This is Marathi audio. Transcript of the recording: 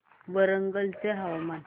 वरंगल चे हवामान